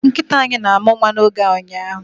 Nkịta anyị na-amụ nwa n'oge a ụnyaahụ